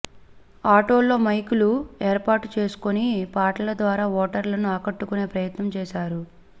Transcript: ఆటోల్లో మైకులు ఏర్పాటు చేసుకుని పాటల ద్వారా ఓటర్లను ఆకట్టుకునే ప్రయత్నం చేశారు